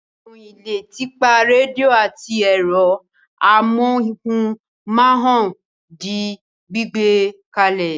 Ìròyìn le tipa rédíò àti ẹ̀rọ amóhùmáwòhán di gbígbẹ kalẹ̀.